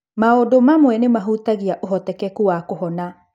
Maũndu amwe nĩ mahutagia ũhotekeku wa kũhona.